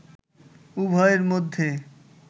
উভয়ের মধ্যে